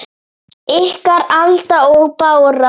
Ykkar, Alda og Bára.